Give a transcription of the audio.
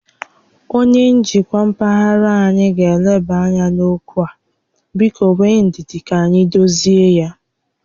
Onyé njikwa mpaghara anyị ga eleba ányá n'okwu a, biko nwee ndidi ka anyị dozie ya